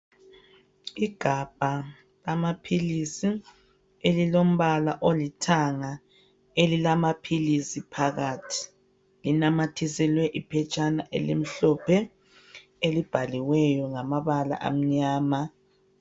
Igabha lamaphilisi elilombala olithanga elilamaphilisi phakathi. Linamathiselwe iphetshana elimhlophe elibhaliweyo ngamabala amnyama.